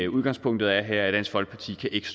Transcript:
udgangspunktet er her at dansk folkeparti ikke